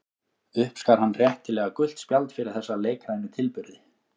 Uppskar hann réttilega gult spjald fyrir þessa leikrænu tilburði.